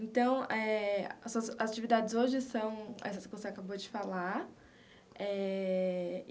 Então eh, as suas as atividades hoje são essas que você acabou de falar eh.